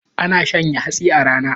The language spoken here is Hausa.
Ana shanya hatsi a rana